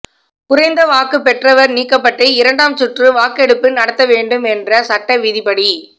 குறைந்த வாக்கு பெற்றவர் நீக்கப்பட்டு இரண்டாம் சுற்று வாக்கெடுப்பு நடத்தப்படவேண்டும் என்ற சட்டவிதிப்படி